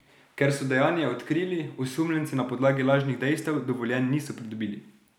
Ker so dejanje odkrili, osumljenci na podlagi lažnih dejstev dovoljenj niso pridobili.